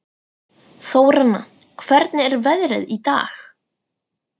Þóranna, hvernig er veðrið í dag?